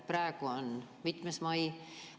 Praegu on mitmes mai?